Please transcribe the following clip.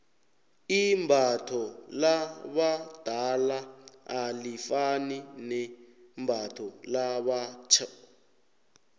imbatho labadala alifani nembatho labatjho